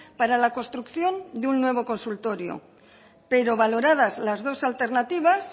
para la construcción de un nuevo consultorio pero valoradas las dos alternativas